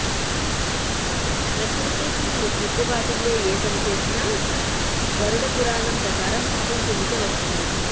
ప్రకృతికి ముప్పు వాటిల్లే ఏ పని చేసినా గరుడపురాణం ప్రకారం పాపం కిందకే వస్తుంది